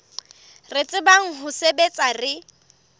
re tsebang ho sebetsa re